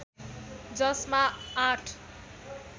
जसमा आठ